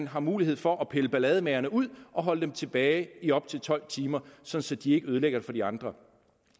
har mulighed for at pille ballademagerne ud og holde dem tilbage i op til tolv timer så så de ikke ødelægger det for de andre